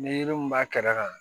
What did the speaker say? Ni yiri min b'a kɛrɛ kan